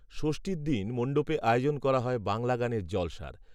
যষ্ঠীর দিন মণ্ডপে আয়োজন করা হয় বাংলা গানের জলসার